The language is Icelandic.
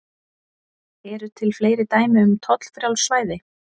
Eru til fleiri dæmi um tollfrjáls svæði?